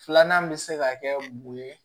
Filanan bɛ se ka kɛ mun ye